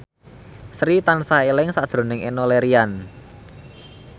Sri tansah eling sakjroning Enno Lerian